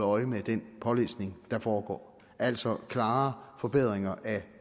øje med den pålæsning der foregår altså klare forbedringer af